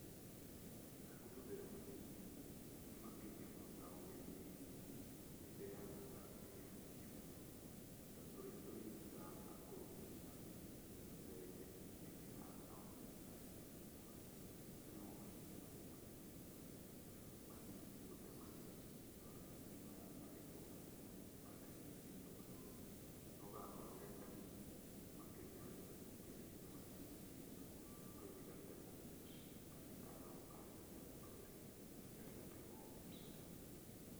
Rĩrĩa ngũhũthĩra macini makĩria mũno ta ũgethi-inĩ, nĩ ndeyangaga irio nyingĩ mũno, ta tũrĩa tũnini tũtarahota kũrũmio nĩ macini, nĩ tũitĩkangaga mũgũnda mũno mũno. Macio nĩmo mathĩna marĩa manene nyonaga macini mũno nĩ gũte magetha, tondũ macini yoyaga magetha o marĩa manene marĩa ĩthimĩirwo yoye no gakorwo ge kanini makĩria ya gĩthimo kĩrĩa macini ĩthimĩtwo, kau ĩgate mũgũnda kana ĩkaga gũkarogota gũkagetha, gagatigwo mũgũnda.